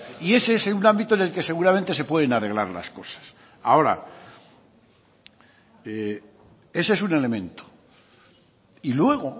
y ese es un ámbito en el que seguramente se pueden arreglar las cosas ahora ese es un elemento y luego